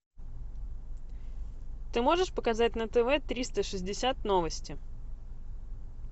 ты можешь показать на тв триста шестьдесят новости